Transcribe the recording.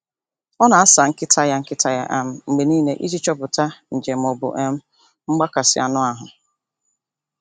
Ọ na-asa nkịta ya nkịta ya um mgbe niile iji chọpụta nje ma ọ bụ um mgbakasị anụ ahụ.